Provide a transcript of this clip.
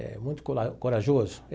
É muito cora corajoso.